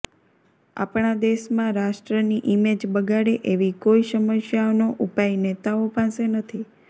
આપણા દેશમાં રાષ્ટ્રની ઈમેજ બગાડે એવી કોઈ સમસ્યાઓનો ઉપાય નેતાઓ પાસે નથી